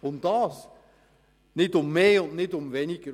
Nicht mehr, nicht weniger.